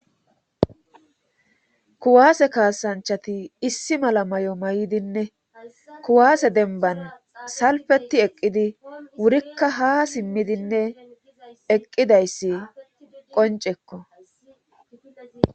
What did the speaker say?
kuwaase kaasanchati issi mala may7o may7dinne kuwaase denban salfeti eqqidi wurikka ha simmidinne eqqidayssi qoncekko